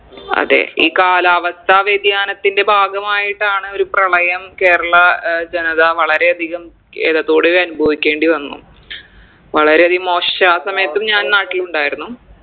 അതെ ഈ കാലാവസ്ഥ വ്യതിയാനത്തിൻറെ ഭാഗമായിട്ടാണ് ഒരു പ്രളയം കേരള ഏർ ജനത വളരെ അധികം കേതത്തോടെയിതനുഭവിക്കേണ്ടി വന്നു വളരെ അധികം മോശ ആ സമയത്തും ഞാൻ നാട്ടിലുണ്ടായിരുന്നു